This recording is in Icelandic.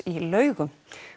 í Laugum